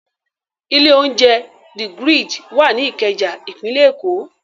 Ilé-oúnjẹ The Grid wà ní Ìkẹjà, ìpínlẹ̀ Èkó.